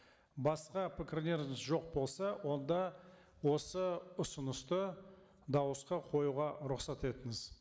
басқа пікірлерлеріңіз жоқ болса онда осы ұсынысты дауысқа қоюға рұқсат етіңіз